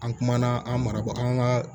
An kumana an maraba an ka